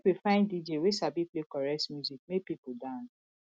make we find dj wey sabi play correct music make pipo dance